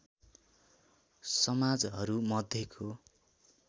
समाजहरू मध्येको